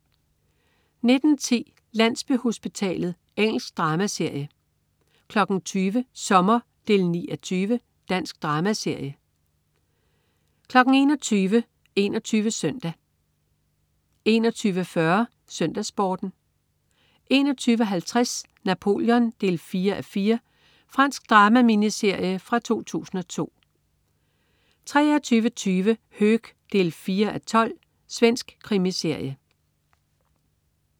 19.10 Landsbyhospitalet. Engelsk dramaserie 20.00 Sommer 9:20. Dansk dramaserie 21.00 21 Søndag 21.40 SøndagsSporten 21.50 Napoleon 4:4. Fransk drama-miniserie fra 2002 23.20 Höök 4:12. Svensk krimiserie